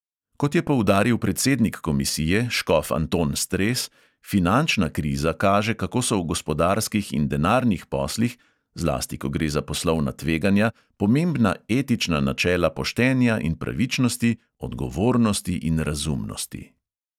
Kot je poudaril predsednik komisije, škof anton stres, finančna kriza kaže, kako so v gospodarskih in denarnih poslih, zlasti ko gre za poslovna tveganja, pomembna etična načela poštenja in pravičnosti, odgovornosti in razumnosti.